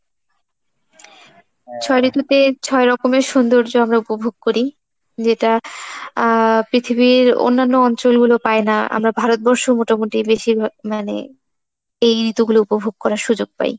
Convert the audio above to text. ছয় ঋতুতে ছয় রকমের সৌন্দর্য আমরা উপভোগ করি, যেটা আহ পৃথিবীর অন্যান্য অঞ্চলগুলো পায় না আমরা ভারতবর্ষ মোটামোটি বেশিরভাগ মানে এই ঋতুগুলো উপভোগ করার সুজুগ পাই।